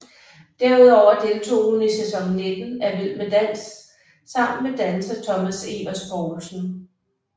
Derudover deltog hun i sæson 19 af Vild med dans sammen med danser Thomas Evers Poulsen